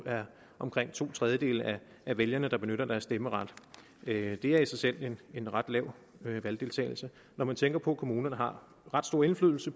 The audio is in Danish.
er omkring to tredjedele af vælgerne der benytter deres stemmeret det er i sig selv en ret lav valgdeltagelse når man tænker på at kommunerne har ret stor indflydelse